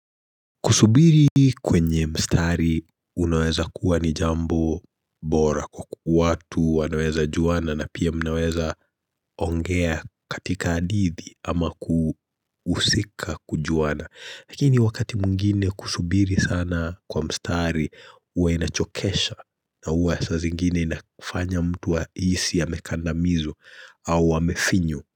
Kusubiri kwenye mstari unaweza kuwa ni jambo bora kwa kukuwatu, wanaweza juana na pia mnaweza ongea katika hadithi ama kuhusika kujuana. Lakini wakati mwingine kusubiri sana kwa mstari, uwe inachokesha na uwe saa zingine inafanya mtu ahisi amekandamizwa au amefinywa.